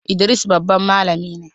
Idris babban malami ne.